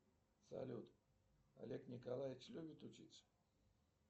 салют олег николаевич любит учиться